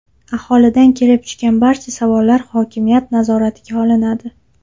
Aholidan kelib tushgan barcha savollar hokimiyat nazoratiga olinadi.